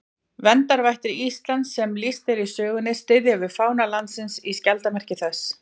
Verndarvættir Íslands sem lýst er í sögunni styðja við fána landsins í skjaldarmerki þess.